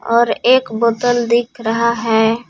और एक बोतल दिख रहा है।